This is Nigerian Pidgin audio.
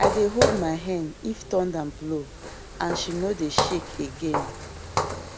i dey hold my hen if thunder blow and she no dey shake again